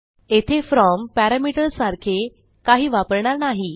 येथे फ्रॉम पॅरामीटरसारखे काही वापरणार नाही